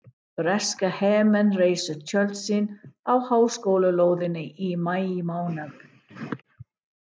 Breskir hermenn reisa tjöld sín á háskólalóðinni í maímánuði